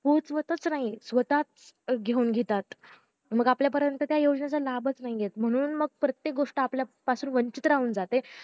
पोहतवताच नाही स्वतःच घेऊन घेतात मग आपल्यापर्यंत त्या योजनेचा लाभच नाही येत म्हणून मग प्रत्येक गोष्ट आपल्यापासून वंचित राहून जाते